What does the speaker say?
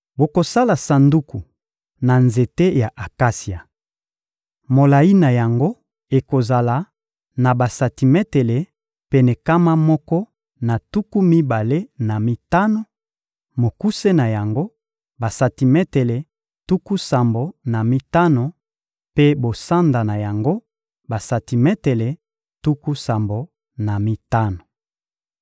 Bokosala sanduku na nzete ya akasia. Molayi na yango ekozala na basantimetele pene nkama moko na tuku mibale na mitano; mokuse na yango, basantimetele tuku sambo na mitano mpe bosanda na yango, basantimetele tuku sambo na mitano.